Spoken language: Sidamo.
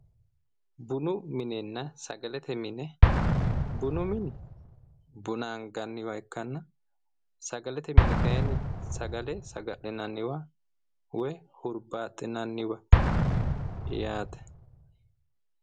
Bunu minenna sagalete mine bunu mini buna anganniwa ikkana sagalete mini kayni sagale saga'linanniwa woy hurbaaxinanniwa yaate